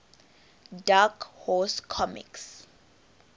dark horse comics